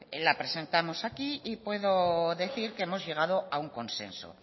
la presentamos aquí y puedo decir que hemos llegado a un consenso